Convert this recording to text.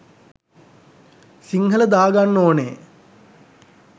සිංහල දාගන්න ඕනේ.